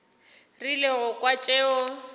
rile go kwa tšeo a